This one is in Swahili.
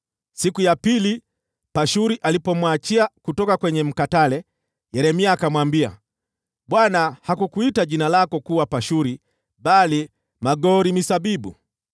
Siku ya pili Pashuri alipomwachia kutoka kwenye mkatale, Yeremia akamwambia, “ Bwana hakukuita jina lako kuwa Pashuri bali Magor-Misabibu.